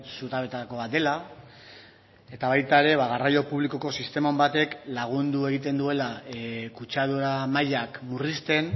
zutabeetako bat dela eta baita ere garraio publikoko sistema on batek lagundu egiten duela kutsadura mailak murrizten